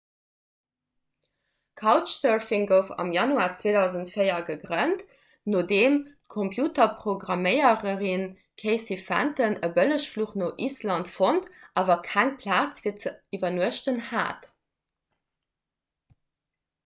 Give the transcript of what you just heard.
couchsurfing gouf am januar 2004 gegrënnt nodeem d'computerprogramméiererin casey fenton e bëllegfluch no island fonnt awer keng plaz fir ze iwwernuechten hat